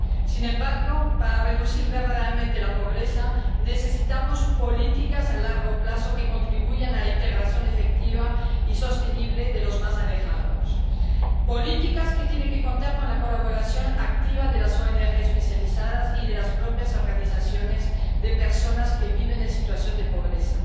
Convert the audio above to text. Sin embargo, para reducir verdaderamente la pobreza, necesitamos políticas a largo plazo que contribuyan a la integración efectiva y sostenible de los más alejados, políticas que tienen que contar con la colaboración activa de las ONG especializadas y de las propias organizaciones de personas que viven en situación de pobreza.